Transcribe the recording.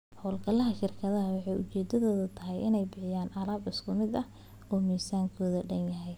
Hawlgallada shirkadu waxay ujeedadoodu tahay inay bixiyaan alaab isku mid ah oo miisaankeedu dhan yahay.